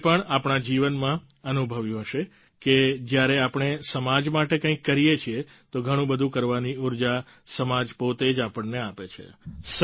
આપે પણ આપણા જીવનમાં અનુભવ્યું હશે કે જ્યારે આપણે સમાજ માટે કંઈક કરીએ છીએ તો ઘણું બધું કરવાની ઉર્જા સમાજ પોતે જ આપણને આપે છે